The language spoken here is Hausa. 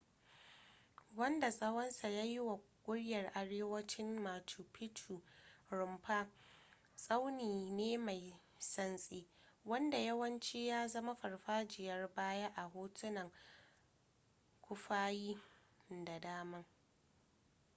wanda tsawonsa ya yi wa ƙuryar arewacin machu picchu rumfa tsauni ne mai santsi wanda yawanci ya zama farfajiyar baya a hotunan kufayin da dama